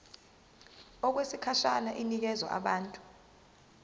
okwesikhashana inikezwa abantu